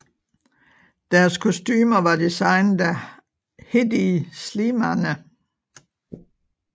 Deres kostumer var designet af Hedi Slimane